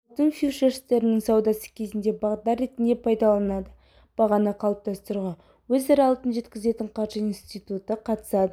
алтын фьючерстерінің саудасы кезінде бағдар ретінде пайдаланылады бағаны қалыптастыруға өзара алтын жеткізетін қаржы институты қатысады